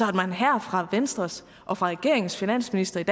at man her fra venstres og fra regeringens finansministers